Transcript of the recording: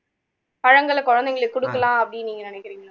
பழங்களை குழந்தைங்களுக்கு கொடுக்கலாம் அப்படின்னு நீங்க நினைக்குறீங்களா